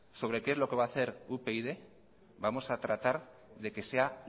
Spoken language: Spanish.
sobre qué es lo que va hacer upyd vamos a tratar de que sea